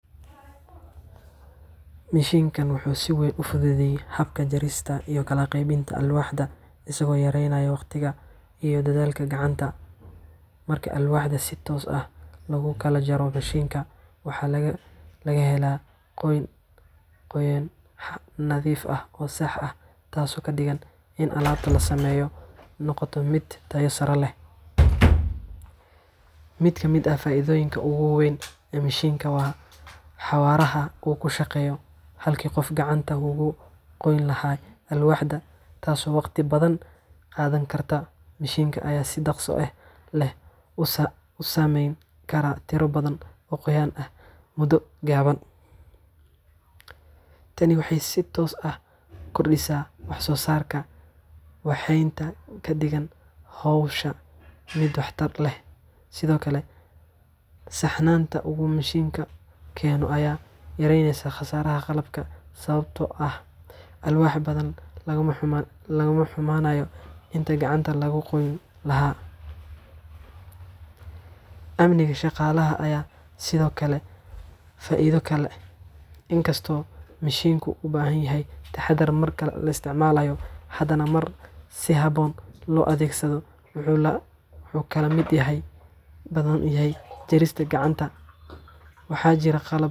Mishiinkan wuxuu si weyn u fududeeyaa habka jarista iyo kala qaybinta alwaaxda, isagoo yareynaya waqtiga iyo dadaalka gacanta. Marka alwaaxda si toos ah loogu kala jaro mishiinka, waxaa la helaa goyn nadiif ah oo sax ah, taasoo ka dhigan in alaabta la sameynayo ay noqoto mid tayo sare leh. Mid ka mid ah faa’iidooyinka ugu weyn ee mishiinkan waa xawaaraha uu ku shaqeeyo. Halkii qofku gacanta uga goyn lahaa alwaaxda, taasoo waqti badan qaadan karta, mishiinka ayaa si dhaqso leh u sameyn kara tiro badan oo goyn ah muddo gaaban. Tani waxay si toos ah u kordhisaa wax-soo-saarka, waxayna ka dhigtaa hawsha mid waxtar leh. Sidoo kale, saxnaanta uu mishiinku keeno ayaa yaraynaysa khasaaraha qalabka, sababtoo ah alwaax badan lama xumaanayo intii gacanta lagu goyn lahaa. Amniga shaqaalaha ayaa sidoo kale ah faa’iido kale. In kasta oo mishiinku u baahan yahay taxaddar marka la isticmaalayo, jarista gacanta waxa jira qalab.